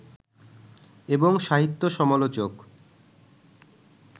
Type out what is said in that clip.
এবং সাহিত্য সমালোচক